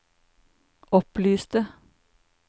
opplyste